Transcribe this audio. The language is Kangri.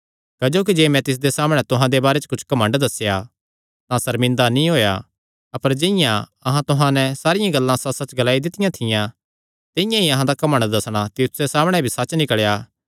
क्जोकि जे मैं तिसदे सामणै तुहां दे बारे च कुच्छ घमंड दस्सेया तां सर्मिंदा नीं होएया अपर जिंआं अहां तुहां नैं सारियां गल्लां सच्चसच्च ग्लाई दित्तियां थियां तिंआं ई अहां दा घमंड दस्सणा तीतुसे सामणै भी सच्च निकल़ेया